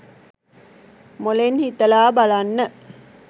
මොළෙන් හිතලා බලන්න.